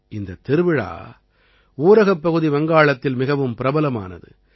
இந்தத் திருவிழா ஊரகப்பகுதி வங்காளத்தில் மிகவும் பிரபலமானது